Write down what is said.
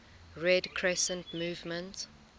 red crescent movement